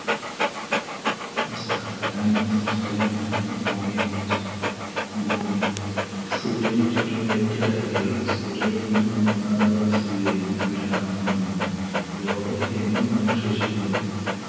നമസ്ക്കാരം ഞാൻ ഇന്ന് സംസാരിക്കാൻ പോവുന്നത് ഭൂമിയെ കുറിച്ചാണ് ഭൂമി, സൂര്യനെ ചുറ്റുന്ന എട്ടു ഗ്രഹങ്ങളിൽ സൂര്യനിൽ നിന്നും മൂന്നാമതായി സ്ഥിതി ചെയ്യുന്ന ഗ്രഹമാണ് ഭൂമി ലോകം എന്നും നാം വിശേഷിക്കുന്നതും